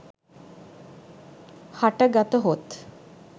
හට ගතහොත්